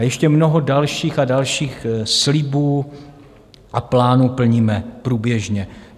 A ještě mnoho dalších a dalších slibů a plánů plníme průběžně.